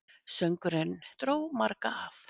Söngurinn dró marga að.